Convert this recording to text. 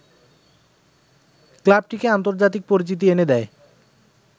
ক্লাবটিকে আন্তর্জাতিক পরিচিতি এনে দেয়